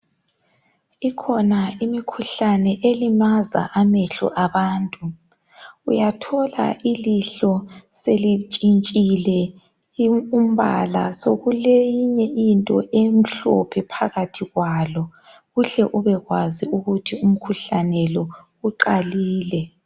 Ikhona imikhuhlane elimaza amehlo abantu. Uyathola ilihlo selitshintshile umbala sekukeyinye into emhlophe phakathi kwalo uhle ubekwazi ukuthi umkhuhlane lo uqalile